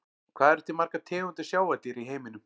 Hvað eru til margar tegundir sjávardýra í heiminum?